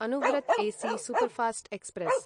Anuvrat AC सूसूपर्फास्ट्क्स्प्रे स्